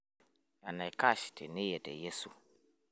tenaikash teniye te Yesu